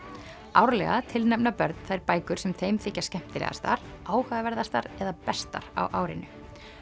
árlega tilnefna börn þær bækur sem þeim þykja skemmtilegastar eða bestar á árinu